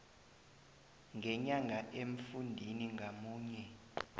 ngenyanga emfundini ngamunye